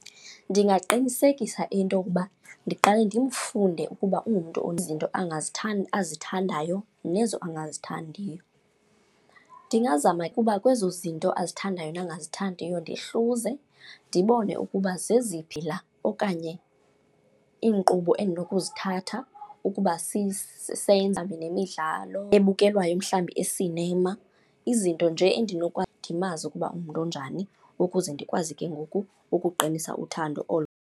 Ndingaqinisekisa into yokuba ndiqale ndimfunde ukuba ungumntu izinto azithandayo nezo angazithandiyo. Ndingazama ukuba kwezo zinto azithandayo nangazithandiyo ndihluze, ndibone ukuba zeziphi la okanye iinkqubo endinokuzithatha ukuba sisenza nemidlalo ebukelwayo mhlawumbi esinema. Izinto nje ndimazi ukuba ungumntu onjani, ukuze ndikwazi ke ngoku ukuqinisa uthando olo.